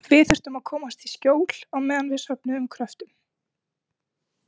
Við þurftum að komast í skjól á meðan við söfnuðum kröftum.